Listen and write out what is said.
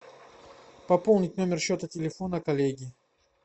пополнить номер счета телефона коллеги